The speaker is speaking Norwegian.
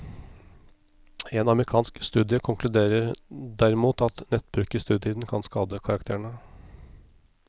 En amerikansk studie konkluderer derimot at nettbruk i studietiden kan skade karakterene.